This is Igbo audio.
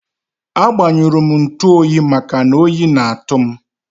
A gbanyurum ntuoyi maka oyi na atu m